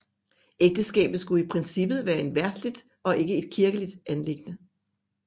Ægteskabet skulle i princippet være et verdsligt og ikke et kirkeligt anliggende